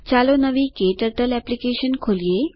ચાલો નવી KTurtle application ખોલીએ